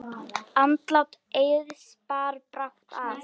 Andlát Eiðs bar brátt að.